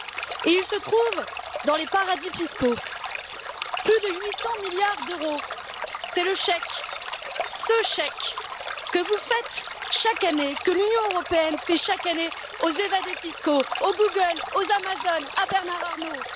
Et il se trouve dans les paradis fiscaux. Plus de 800 milliards d'euros, c'est le chèque, ce chèque que vous faites chaque année, que l'Union européenne fait chaque année aux évadés fiscaux, aux Google, aux Amazon, à Bernard Arnault.